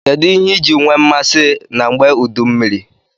Kedu iji nwe mmasi na ngbe udu mmiri?